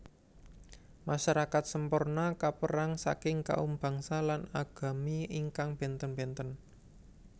Masyarakat Semporna kaperang saking kaum bangsa lan agami ingkang benten benten